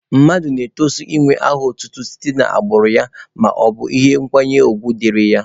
Mmadụ na-etosi inwe aha otutu site n'agbụrụ ya maọbụ na ọ bụ ihe nkwanye ugwu dịrị ya.